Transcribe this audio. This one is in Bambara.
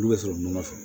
N'u bɛ sɔrɔ nɔnɔ fɛ